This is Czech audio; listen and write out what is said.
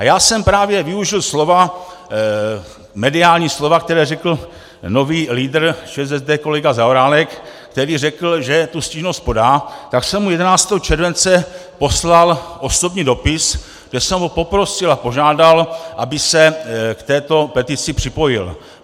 A já jsem právě využil slova, mediální slova, která řekl nový lídr ČSSD kolega Zaorálek, který řekl, že tu stížnost podá, tak jsem mu 11. července poslal osobní dopis, kde jsem ho poprosil a požádal, aby se k této petici připojil.